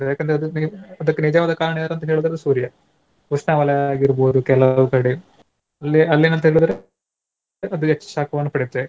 ಯಾಕಂದ್ರೆ ಅದು ಅದಕ್ಕೆ ನಿಜವಾದ ಕಾರಣ ಏನಂತ ಹೇಳಿದ್ರೆ ಅದು ಸೂರ್ಯ. ಉಷ್ಣವಲಯ ಆಗಿರ್ಬಹುದು ಕೆಲವು ಕಡೆ ಉಲ್ಲೆ ಅಲ್ಲಿ ಏನಂತ ಹೇಳಿದ್ರೆ ಅದು direct ಶಾಖವನ್ನು ಪಡೆಯುತ್ತೆ.